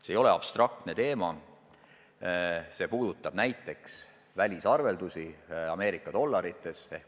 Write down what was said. See ei ole abstraktne teema, see puudutab näiteks välisarveldusi Ameerika dollarites.